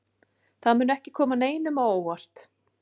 Það mun ekki koma neinum á óvart.